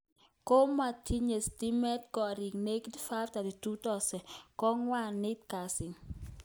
Komokotinye stimet koriik negit 532,000 kongoit kwaeng kasi